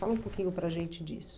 Fala um pouquinho para a gente disso.